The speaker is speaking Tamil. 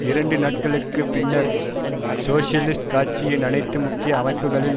இரண்டு நாட்களுக்கு பின்னர் சோசியலிஸ்ட் கட்சியின் அனைத்து முக்கிய அமைப்புக்களில்